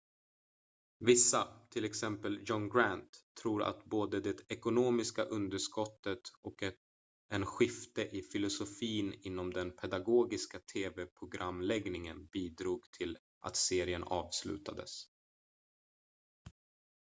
vissa till exempel john grant tror att både det ekonomiska underskottet och en skifte i filosofin inom den pedagogiska tv-programläggningen bidrog till att serien avslutades